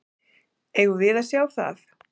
Eigum við að sjá það?